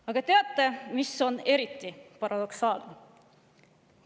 Aga teate, mis on eriti paradoksaalne?